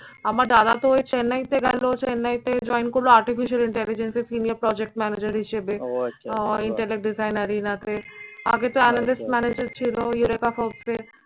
আমার দাদা তো এই চেন্নাইতে গেলো। চেন্নাইতে join করলো artificial intelligence এ senior project manager হিসেবে ও ইন্টেলেক্ট ডিজাইনার ইনাতে। আগেতো অ্যামেজেস ম্যানেজার ছিল ইউরেকা